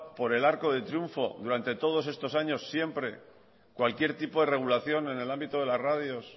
por el arco del triunfo durante todos estos años siempre cualquier tipo de regulación en el ámbito de las radios